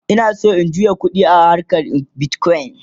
Ina San in juya ƙuɗi a harkan bitcoin